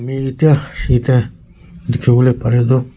Eeetia yate dekhi bole pari toh--